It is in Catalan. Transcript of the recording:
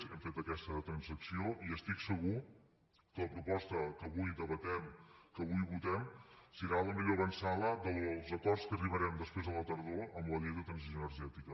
hem fet aquesta transacció i estic segur que la proposta que avui debatem que avui votem serà la millor avantsala dels acords a què arribarem després a la tardor amb la llei de transició energètica